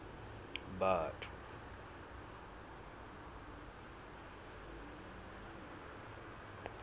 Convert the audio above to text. batho